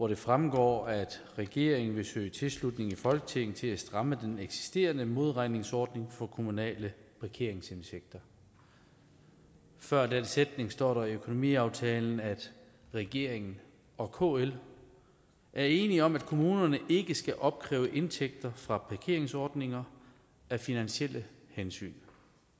det fremgår at regeringen vil søge tilslutning i folketinget til at stramme den eksisterende modregningsordning for kommunale parkeringsindtægter før den sætning står der i økonomiaftalen at regeringen og kl er enige om at kommunerne ikke skal opkræve indtægter fra parkeringsordninger af finansielle hensyn